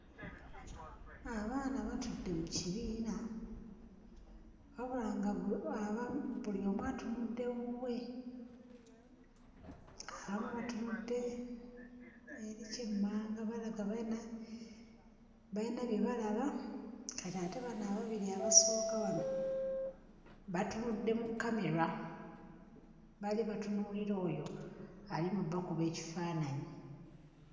Abaana batudde mu kibiina, wabula ng'abamu buli omu atunudde wuwe. Abamu batunudde eri ky'emmanga balaga balina bye balaba, kati ate bano ababiri abasooka wano batunudde mu kkamera. Baali batunuulira oyo ali mu bbakuba ekifaananyi.